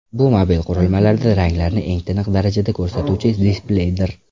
Bu mobil qurilmalarda ranglarni eng tiniq darajada ko‘rsatuvchi displeydir.